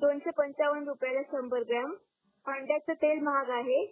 दोनशे पंचावण संभर ग्रॉम अंड्याच तेल महाग आहे